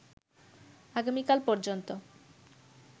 আগামীকাল পর্যন্ত